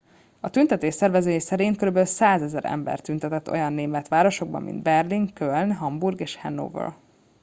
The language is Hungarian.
a tüntetés szervezői szerint körülbelül 100,000 ember tüntetett olyan német városokban mint berlin köln hamburg és hannover